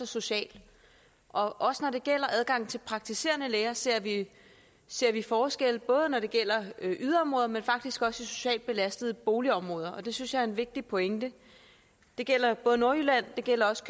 social også når det gælder adgangen til praktiserende læger ser vi ser vi forskel både når det gælder yderområder men faktisk også i socialt belastede boligområder og det synes jeg er en vigtig pointe det gælder nordjylland og det gælder også